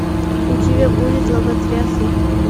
у тебя будет лоботрясы